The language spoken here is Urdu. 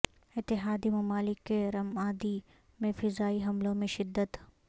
اتحادی ممالک کے رمادی میں فضائی حملوں میں شدت